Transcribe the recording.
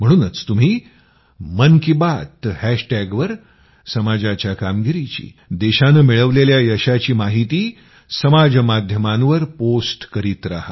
म्हणूनच तुम्ही मन की बात हॅशटॅगवर सह समाजाच्या कामगिरीची देशानं मिळवलेल्या यशाची माहिती समाज माध्यमांवर पोस्ट करीत रहा